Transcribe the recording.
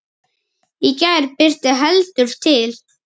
Í gær birti heldur til.